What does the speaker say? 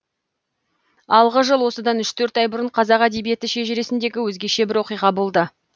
алғы жыл осыдан үш төрт ай бұрын қазақ әдебиеті шежіресіндегі өзгеше бір оқиға болды